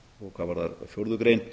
hvað varðar fjórðu grein